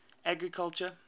agriculture